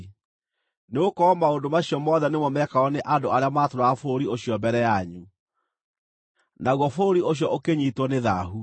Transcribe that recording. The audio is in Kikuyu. nĩgũkorwo maũndũ macio mothe nĩmo meekagwo nĩ andũ arĩa maatũũraga bũrũri ũcio mbere yanyu, naguo bũrũri ũcio ũkĩnyiitwo nĩ thaahu.